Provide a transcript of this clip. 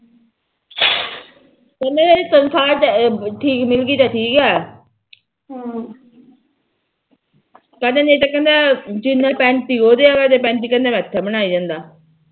ਕਹਿੰਦਾ ਜੇ ਤਨਖਾਹ ਠੀਕ ਮਿਲਗੀ ਤਾ ਠੀਕੇ ਹਮ ਕਹਿੰਦਾ ਨਹੀ ਤਾ ਕਹਿੰਦਾ ਪੈਂਤੀ ਉਹ ਦਿਆ ਕਰਦੇ ਪੈਂਤੀ ਮੈ ਇਥੇ ਬਣਾਈ ਜਾਂਦਾ